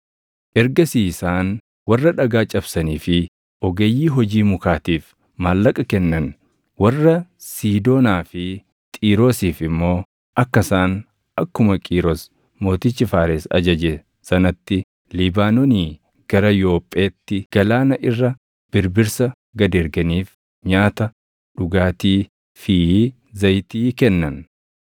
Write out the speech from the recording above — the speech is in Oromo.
Ergasii isaan warra dhagaa cabsanii fi ogeeyyii hojii mukaatiif maallaqa kennan; warra Siidoonaa fi Xiiroosiif immoo akka isaan akkuma Qiiros mootichi Faares ajaje sanatti Libaanoonii gara Yoopheetti galaana irra birbirsa gad erganiif nyaata, dhugaatii fi zayitii kennan.